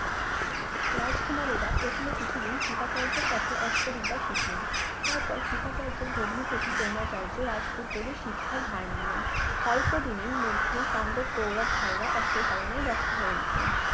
রাজকুমারেরা প্রথমে কিছুদিন কৃপাচার্যের কাছে অস্ত্রবিদ্যা শিখলেন তারপর কৃপাচার্যের ভগ্নিপতী দ্রোনাচার্য রাজপুত্রদের শিক্ষার ভার নিলেন অল্প দিনের মধ্যে পান্ডব কৌরব ভাইয়েরা অস্ত্র চালানোয় দক্ষ হয়ে উঠলেন